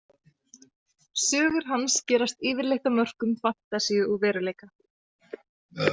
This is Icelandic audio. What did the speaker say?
Sögur hans gerast yfirleitt á mörkum fantasíu og veruleika.